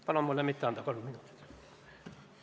Palun mulle mitte anda kolme lisaminutit!